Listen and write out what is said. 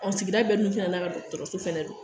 sigida bɛ n'u fɛnɛ n'a ka dɔgɔtɔrɔso fɛnɛ don.